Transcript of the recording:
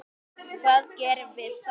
Hvað gerum við þá?